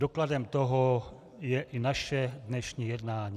Dokladem toho je i naše dnešní jednání.